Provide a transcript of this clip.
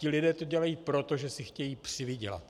Ti lidé to dělají proto, že si chtějí přivydělat.